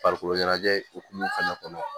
Farikolo ɲɛnajɛ hukumu fana kɔnɔ